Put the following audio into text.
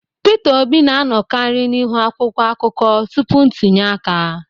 Peter Obi na-anọkarị n'ihu akwụkwọ akụkọ tupu ntunye aka